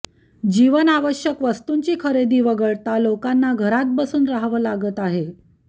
जीवनावश्यक वस्तूंची खरेदी वगळता लोकांना घरात बसून राहावं लागत आहे